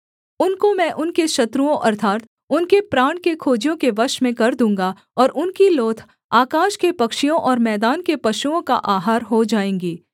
उनको मैं उनके शत्रुओं अर्थात् उनके प्राण के खोजियों के वश में कर दूँगा और उनकी लोथ आकाश के पक्षियों और मैदान के पशुओं का आहार हो जाएँगी